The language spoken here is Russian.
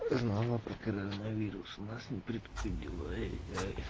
знала про коронавирус нас не предупредила ай-яй-яй